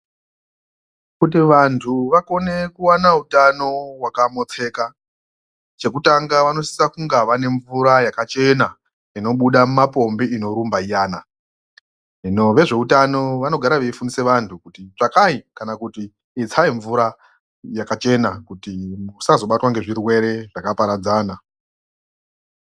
Kuti vantu vakone kuwana utano wakamotseka chekutanga vanosisa kunge vane mvura yakachena inobuda mumapombi inorumba iyana hino vezveutano vanogara veifundisa vantu kuti tsvakai kana kuti itsai mvura yakachena kuti musazobatwa ngezvirwere zvakaparadzana.